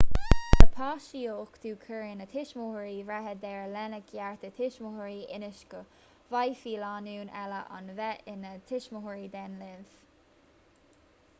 le páiste a uchtú cuireann na tuismitheoirí breithe deireadh lena gcearta tuismitheoirí ionas go bhféadfaidh lánúin eile a bheith ina dtuismitheoirí den linbh